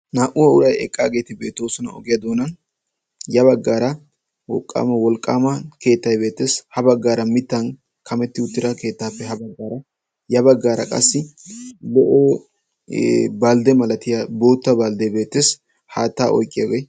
naa''u uray eqqaageeti beettoosona ogiyaa doonan, ya baggaara wolqqaama keettay beettees, ya baggaara mittan kametti uttida keettappe aha baggaara ya baggaara qassi lo''o baldde malatiyaa boota baldde beettees, haatta oyqqiyaagee.